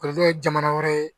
ye jamana wɛrɛ ye